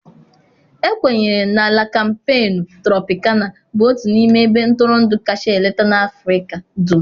Ekwenyere na La Kampenu Tropịkana bụ otu n'ime ebe ntụrụndụ kacha eleta na Africa dum.